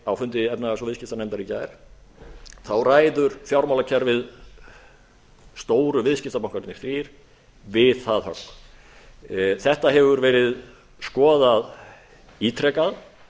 á fundi efnahags og viðskiptanefndar í gær þá ræður fjármálakerfið stóru viðskiptabankarnir við það högg þetta hefur verið skoðað ítrekað